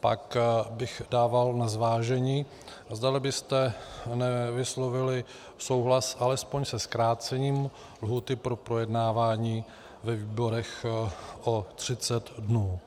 pak bych dával na zvážení, zdali byste nevyslovili souhlas alespoň se zkrácením lhůty pro projednávání ve výborech o 30 dnů.